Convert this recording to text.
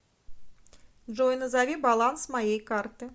джой назови баланс моей карты